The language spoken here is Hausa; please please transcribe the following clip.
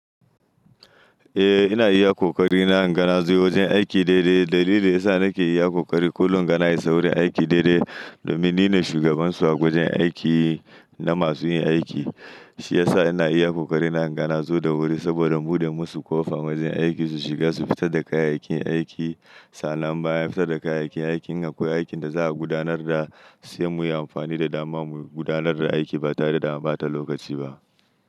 Eh, ina iya ƙoƙari na inga nazo wajen aiki daidai. Dalili da yasa nake iya ƙoƙari kullum inga na isa gurin aiki daidai domin nine shugaban su a wajen aiki na masu yin aiki. Shi yasa ina iya ƙoƙari na inga nazo da wuri saboda in buɗe musu ƙofa wajen aiki su shiga su fita da kayayyakin aiki. Sannan bayan fitar da kayayyakin aikin in akwai aikin da za a gudanar da sai muyi amfani da dama mu gudanar da aiki ba tare da an ɓata lokaci ba.